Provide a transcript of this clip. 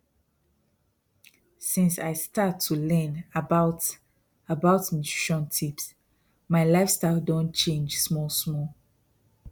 since i start to learn about about nutrition tips my lifestyle don change small small